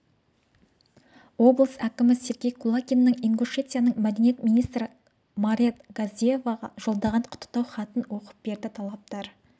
облыс әкімі сергей кулагиннің ингушетияның мәдениет министрі марет газдиеваға жолдаған құттықтау хатын оқып берді тараптар